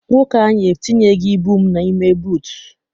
Nwoke anyị entinyeghi ibu n'ime buutu.